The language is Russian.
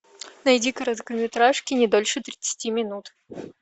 найди короткометражки не дольше тридцати минут